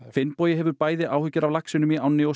Finnbogi hefur áhyggjur af laxi í ánni og